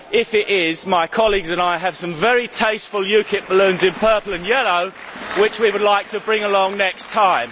If it is, my colleagues and I have some very tasteful UKIP balloons in purple and yellow which we would like to bring along next time.